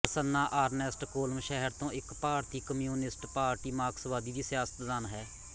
Prasanna Ernest Kollam ਸ਼ਹਿਰ ਤੋਂ ਇੱਕ ਭਾਰਤੀ ਕਮਿਊਨਿਸਟ ਪਾਰਟੀ ਮਾਰਕਸਵਾਦੀ ਦੀ ਸਿਆਸਤਦਾਨ ਹੈ